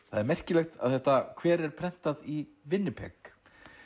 það er merkilegt að þetta kver er prentað í